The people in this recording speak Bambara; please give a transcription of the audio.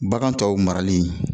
Bagan tɔw marali